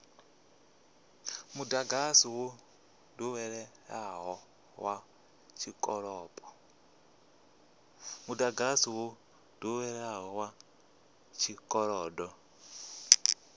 mudagasi wo doweleaho wa tshikolodo